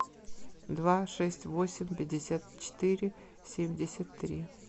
два шесть восемь пятьдесят четыре семьдесят три